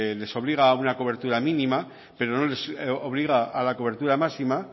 les obliga a una cobertura mínima pero no les obliga a la cobertura máxima